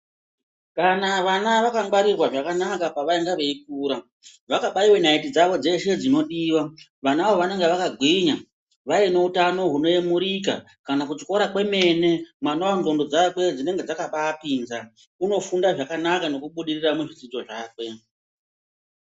Kana vana vakangwarirwa zvakanaka pavainge veikura, vakanaiwa naiti dzawo dzeshe dzinodiwa vanawo vanenge vakagwinya, vaine utano hunoyemurika kana kuchikora kwemene mwanawo ndxondo dzake dzinenge dzakabapinza unofunda zvakanaka unobudirira muzvidzidze zvakwe.